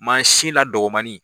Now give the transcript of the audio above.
Mansin la dɔgɔmani.